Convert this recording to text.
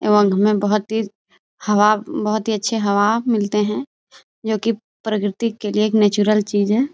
में बहुत तेज हवा बहुत ही अच्छी हवा मिलते हैं जो कि प्रकृति के लिए एक नेचुरल चीज है।